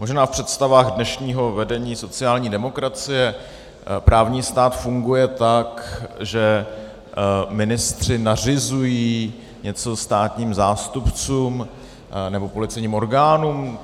Možná v představách dnešního vedení sociální demokracie právní stát funguje tak, že ministři nařizují něco státním zástupcům nebo policejním orgánům.